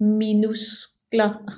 minuskler